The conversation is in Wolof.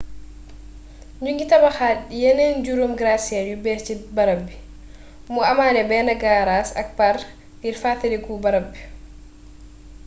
ñu ngi tabaxaat yeneen juróomi gratte-ciel yu bees ci barab bi mu amaale benn gaaraas ak park ngir fàttaliku barab bi